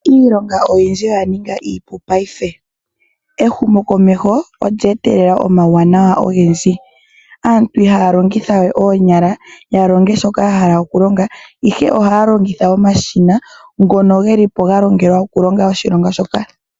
Iilonga oyindji oya ninga iipu paife. Ehumokomeho olye etelela omauwanawa ogendji. Aantu ihaa longitha we oonyala ya longe shoka ya hala okulonga ihe ohaa longitha omashina ngono geli po ga nuninwa okulonga oshilonga shoka.